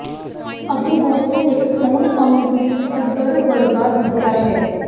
ਅੱਗੇ ਬੌਸ ਨੂੰ ਇੱਕ ਸੌਣ ਅਜਗਰ ਵਰਗਾ ਦਿਸਦਾ ਹੈ